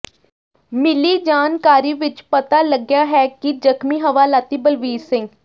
ਮਿਲੀ ਜਾਣਕਾਰੀ ਵਿੱਚ ਪਤਾ ਲੱਗਿਆ ਹੈ ਕਿ ਜਖ਼ਮੀ ਹਵਾਲਾਤੀ ਬਲਵੀਰ ਸਿੰਘ